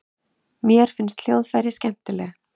Mér finnst hljóðfræði skemmtileg.